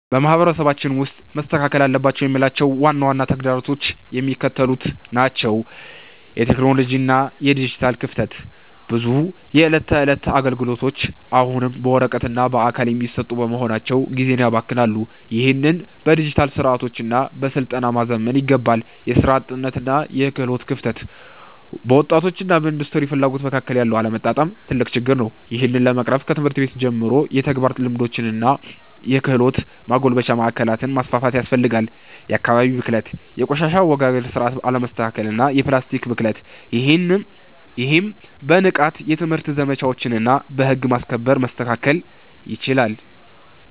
በማህበረሰባችን ውስጥ መስተካከል አለባቸው የምላቸው ዋና ዋና ተግዳሮቶች የሚከተሉት ናቸው የቴክኖሎጂ እና የዲጂታል ክፍተት፦ ብዙ የዕለት ተዕለት አገልግሎቶች አሁንም በወረቀትና በአካል የሚሰሩ በመሆናቸው ጊዜን ያባክናሉ። ይህንን በዲጂታል ስርዓቶችና በስልጠና ማዘመን ይገባል። የሥራ አጥነትና የክህሎት ክፍተት፦ በወጣቶችና በኢንዱስትሪው ፍላጎት መካከል ያለው አለመጣጣም ትልቅ ችግር ነው። ይህን ለመቅረፍ ከትምህርት ቤት ጀምሮ የተግባር ልምምዶችንና የክህሎት ማጎልበቻ ማዕከላትን ማስፋፋት ያስፈልጋል። የአካባቢ ብክለት፦ የቆሻሻ አወጋገድ ስርዓት አለመስተካከልና የፕላስቲክ ብክለት። ይህም በንቃት የትምህርት ዘመቻዎችና በህግ ማስከበር መስተካከል ይችላል።